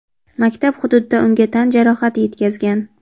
maktab hududida unga tan jarohati yetkazgan.